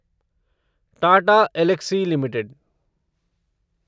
Tata Elxsi limited